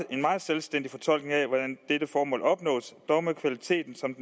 en meget selvstændig fortolkning af hvordan dette formål opnås dog med kvaliteten som